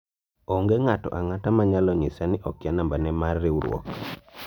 onge ng'ato ang'ata ma nyalo nyisa ni okia nambane mar riwruok